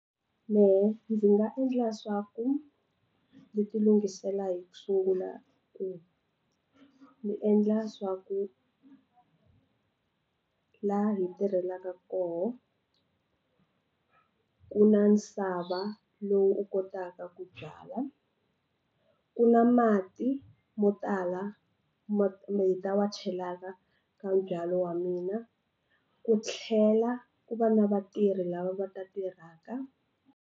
Mehe ndzi nga endla swa ku ni ti lungisela hi ku sungula ku ndzi endla swa ku laha hi tirhelaka kona ku na nsava lowu u kotaka ku byala ku na mati mo tala ma wa chelaka ka nbyalo wa mina ku tlhela ku va na vatirhi lava va ta tirhaka.